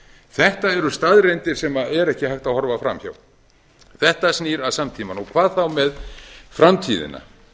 þetta eru staðreyndir sem er ekki hægt að horfa framhjá þetta snýr að samtímanum og hvað þá með framtíðina